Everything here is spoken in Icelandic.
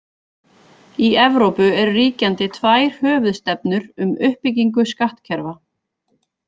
Í Evrópu eru ríkjandi tvær höfuðstefnur um uppbyggingu skattkerfa.